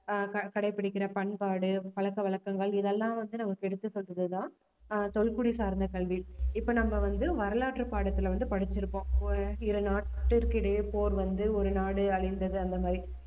ஆஹ் க~ கடைப்பிடிக்கிற பண்பாடு பழக்கவழக்கங்கள் இதெல்லாம் வந்து நமக்கு எடுத்து சொல்றதுதான் ஆஹ் தொல்குடி சார்ந்த கல்வி இப்ப நம்ம வந்து வரலாற்று பாடத்துல வந்து படிச்சிருப்போம் ஆஹ் இரு நாட்டிற்கு இடையே போர் வந்து ஒரு நாடு அழிந்தது அந்த மாதிரி